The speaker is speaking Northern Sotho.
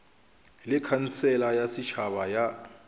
le khansele ya setšhaba ya